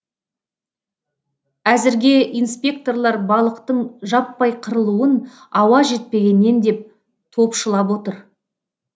әзірге инспекторлар балықтың жаппай қырылуын ауа жетпегеннен деп топшылап отыр